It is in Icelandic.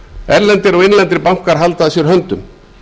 erlendir og innlendir bankar halda að sér höndum